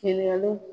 Ɲininkaliw